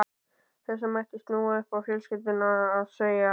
Þessu mætti snúa upp á fjölskylduna og segja